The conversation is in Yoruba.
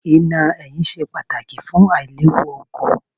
Iná ẹ̀yìn ṣe pàtàkì fún àìléwu ọkọ̀.